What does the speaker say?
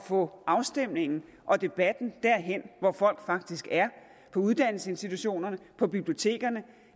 få afstemningen og debatten derhen hvor folk faktisk er på uddannelsesinstitutionerne på bibliotekerne